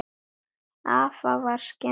Afa var skemmt.